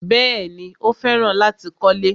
Bẹ́ẹ̀ni, Ó fẹ́ràn láti kọ́lẹ́.